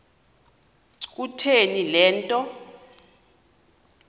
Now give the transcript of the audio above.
kutheni le nto